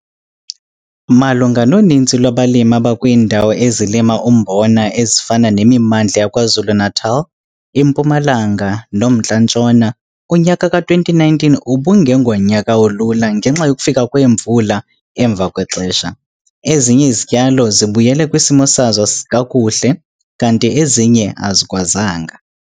MALUNGA NONINZI LWABALIMI ABAKWIINDAWO EZILIMA UMBONA EZIFANA NEMIMANDLA YAKWAZULU-NATAL, IMPUMALANGA NOMNTLA NTSHONA, UNYAKA KA-2019 UBUNGENGONYAKA OLULA NGENXA YOKUFIKA KWEEMVULA EMVA KWEXESHA. EZINYE IZITYALO ZIBUYELE KWISIMO SAZO KAKUHLE KANTI EZINYE AZIKWAZANGA.